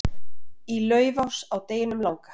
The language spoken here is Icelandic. Í Laufás á deginum langa